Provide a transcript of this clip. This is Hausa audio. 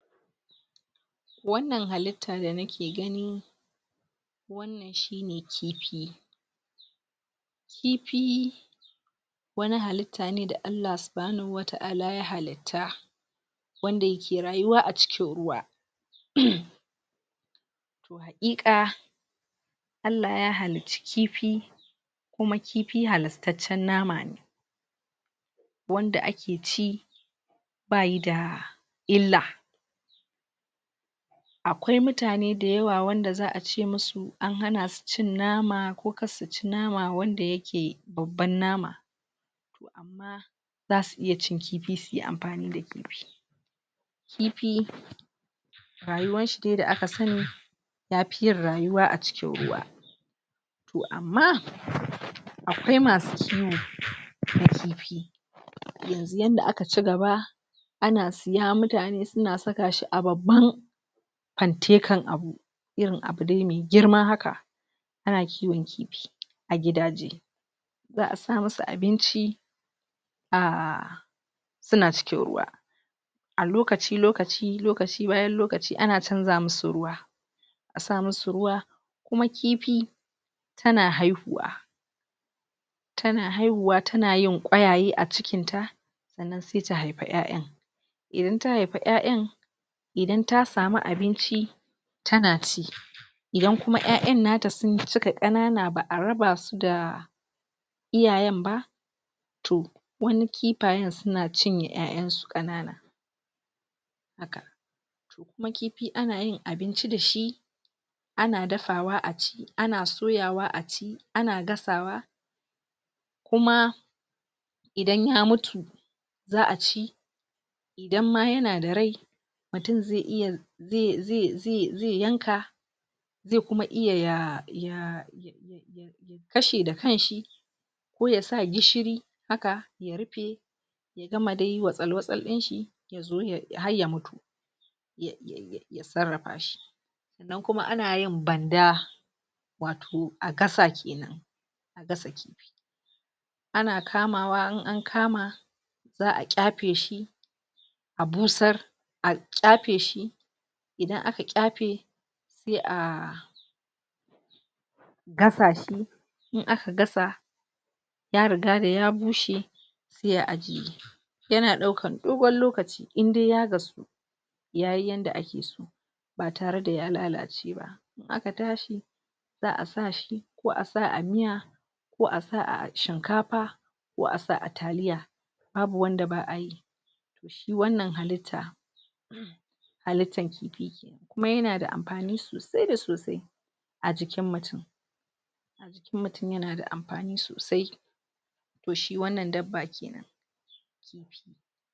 wanan halitta da nake gani shine kifi kifi wani halitta ne wanda Allahu subhanahu wa taʼala ya halitta wanda yake rayuwa a cikin ruwa (?????) ea ka Allah ya halicci kifi kuma kifi halastacce nama ne wanda akeci bayida illa akwai mutane dayawa wayanda zaʼace musu an hanasu cin nama ko kasu ci nama wanda yake babban nama kuma zasu iya cin kifi suyi amfanida kifi kifi rayuwanshi dai da aka sani yafi yin ruyuwa a cikin ruwa toh amma akwai musu kiwon kifi yanzu yanda aka cigaba ana saya mutane suna sakashi a babban pantekan abu irin abu dai mai girma haka ana kiwon kifi a gidaje zaʼasa masa abinci a suna cikin ruwa alokaci lokaci lokaci bayan lokaci ana chanja musu ruwa asa musu ruwa kuma kifi tana haihuwa tana haihuwa tana yin ƙwayaye acikinta saʼanan sai ta haifi ƴayan idan ya haifi ƴayan idan ta samu abinci tana ci idan kuma ƴayanata sukayi kanana baʼa rabasuda iyayen ba toh wani kifayen suna cin ƴayansu kanana haka kuma kifi anayin abinci dashi ana dafawa aci ana soyawa aci ana gasawa kuma idan ya mutu zaʼa ci idan ma yanada rai mutum ze iya ze ze ze ze yanka ze kuma iye ya ya kashe da kanshi ko yasa gishiri haka ya rufe ya gamade wasal wasal dinshi juyin har ya mutu ya ya ya sarrafa shi nan kuma anayin banda wato agasa kenan agas ana kamawa in an kama zaʼa ƙyafe shi a busar a ƙyafe shi idan aka ƙyafe sai a gasa shi in aka gasa ya eigada ya bushe sai a ajiye yana daukan dogon lokaci indai ya gasu yayi yanda akeso ba tareda ya lalace ba aka tashi zaʼa sashi ko asa a miya ko asa a shinkafa ko asa a taliya babu wanda baʼayi shi wannan halitta halittan kifi kuma yanada amfani sosai da sosai ajikin mutum jikin mutum yanada amfani sosai to shi wannan dabba kenan